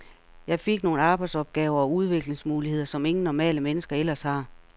Jeg fik nogle arbejdsopgaver og udviklingsmuligheder, som ingen normale mennesker ellers har.